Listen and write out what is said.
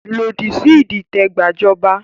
Lòdì sí ìdìtẹ̀ gbajọba!